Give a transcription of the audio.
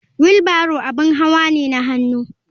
Wheel barrow abin hawa ne na hannu.